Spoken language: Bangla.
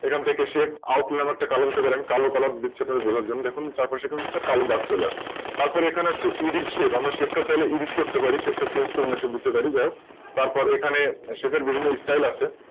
এখান থেকে Shape এর একটা Colour নিতে পা রি । আমি একটা কালো Colour নিচ্ছি বোঝার জন্যে এর থেকে একটা কালো দাগ চলে আসল এখানে হচ্ছে EditShadeChange হতে পারে তার পরে এখানে বিভিন্ন StyleChange হতে পারে